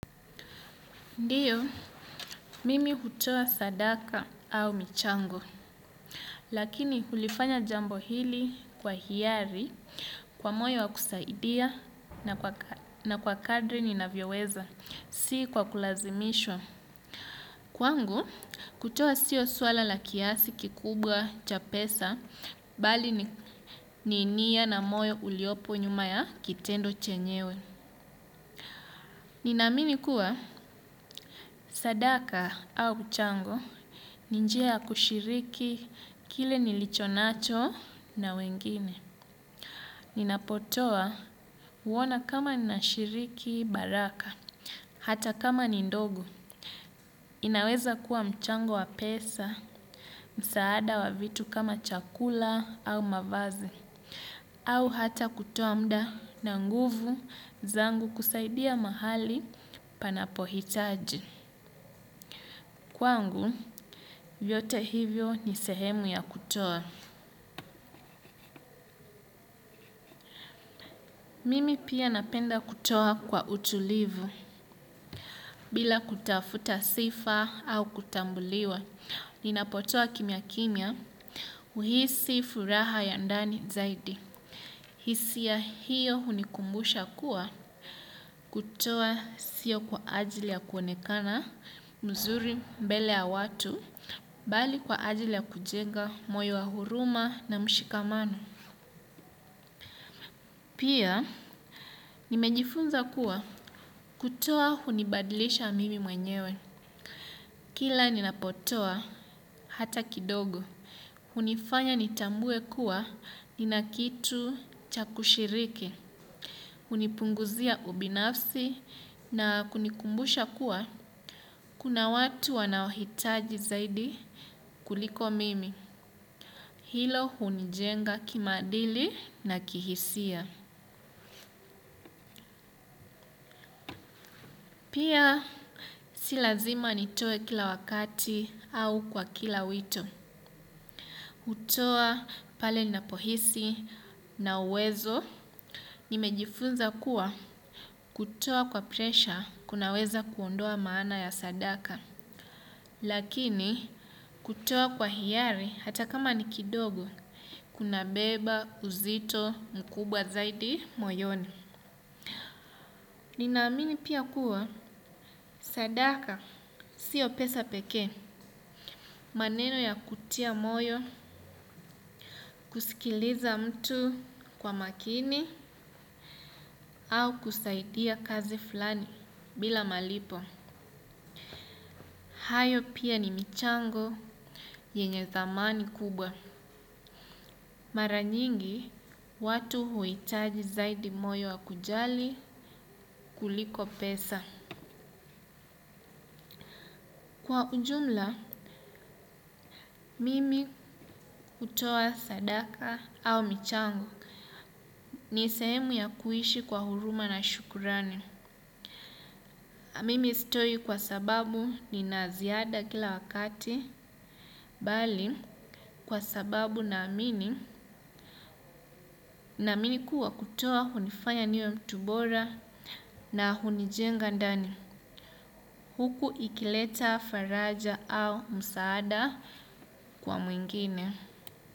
Ndiyo, mimi hutoa sadaka au michango, lakini hulifanya jambo hili kwa hiari, kwa moyo wa kusaidia na kwa kadri ninavyoweza, si kwa kulazimishwa. Kwangu, kutoa sio swala la kiasi kikubwa cha pesa, bali ni nia na moyo uliopo nyuma ya kitendo chenyewe. Ninaamini kuwa sadaka au mchango, ni njia ya kushiriki kile nilicho nacho na wengine. Ninapotoa huona kama nashiriki baraka, hata kama ni ndogo. Inaweza kuwa mchango wa pesa, msaada wa vitu kama chakula au mavazi, au hata kutoa muda na nguvu zangu kusaidia mahali panapohitaji. Kwangu, vyote hivyo ni sehemu ya kutoa. Mimi pia napenda kutoa kwa utulivu bila kutafuta sifa au kutambuliwa. Ninapotoa kimya kimya huhisi furaha ya ndani zaidi. Hisia hiyo hunikumbusha kuwa kutoa sio kwa ajili ya kuonekana mzuri mbele ya watu, bali kwa ajili ya kujenga moyo wa huruma na mshikamano. Pia, nimejifunza kuwa kutoa hunibadlisha mimi mwenyewe. Kila ninapotoa hata kidogo, hunifanya nitambue kuwa nina kitu cha kushiriki, hunipunguzia ubinafsi na kunikumbusha kuwa, kuna watu wanaohitaji zaidi kuliko mimi. Hilo hunijenga kimaadili na kihisia. Pia si lazima nitoe kila wakati au kwa kila wito. Hutoa pale ninapohisi na uwezo. Nimejifunza kuwa kutoa kwa presha kunaweza kuondoa maana ya sadaka. Lakini kutoa kwa hiari hata kama ni kidogo kunabeba uzito mkubwa zaidi moyoni. Ninaamini pia kuwa sadaka sio pesa peke. Maneno ya kutia moyo, kusikiliza mtu kwa makini au kusaidia kazi fulani bila malipo. Hayo pia ni michango yenye dhamani kubwa. Mara nyingi, watu huitaji zaidi moyo wa kujali kuliko pesa. Kwa ujumla, mimi hutoa sadaka au michango. Ni sehemu ya kuishi kwa huruma na shukrani. Na mimi sitoi kwa sababu nina ziada kila wakati, bali kwa sababu naamini, naamini kuwa kutoa hunifanya niwe mtu bora na hunijenga ndani huku ikileta faraja au msaada kwa mwingine.